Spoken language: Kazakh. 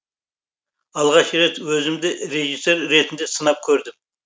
алғаш рет өзімді режиссер ретінде сынап көрдім